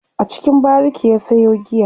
a cikin bariki ya Sayo giya